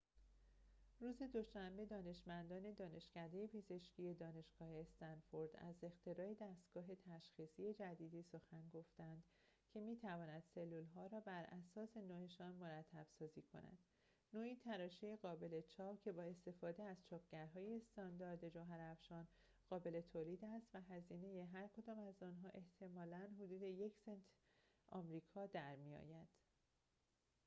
روز دوشنبه دانشمندان دانشکده پزشکی دانشگاه استنفورد از اختراع دستگاه تشخیصی جدیدی سخن گفتند که می‌تواند سلول‌ها را براساس نوعشان مرتب‌سازی کند نوعی تراشه قابل چاپ که بااستفاده از چاپگرهای استاندارد جوهرافشان قابل تولید است و هزینه هرکدام از آنها احتمالاً حدود یک سنت آمریکا در می‌آید